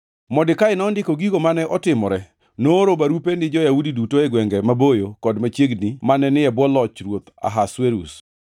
Modekai nondiko gigo mane otimore, nooro barupe ni jo-Yahudi duto e gwenge maboyo kod machiegni mane ni e bwo loch ruoth Ahasuerus,